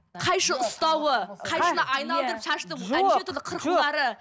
қайшы ұстауы қайшыны айналдырып шашты неше түрлі қырқулары